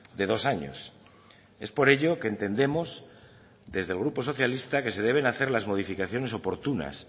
de dos años es por ello que entendemos desde el grupo socialista que se deben hacer las modificaciones oportunas